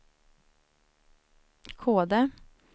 Kode